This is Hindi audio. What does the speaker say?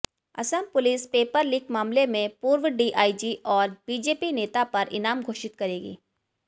असम पुलिस पेपर लीक मामले में पूर्व डीआईजी और बीजेपी नेता पर इनाम घोषित करेगी